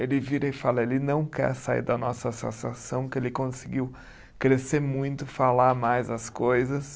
Ele vira e fala, ele não quer sair da nossa associação que ele conseguiu crescer muito, falar mais as coisas.